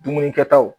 Dumuni kɛtaw